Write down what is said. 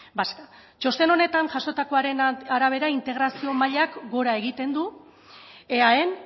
vasca txosten honetan jasotakoaren arabera integrazio mailak gora egiten du eaen